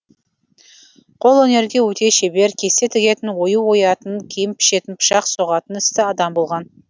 қолөнерге өте шебер кесте тігетін ою оятын киім пішетін пышақ соғатын істі адам болған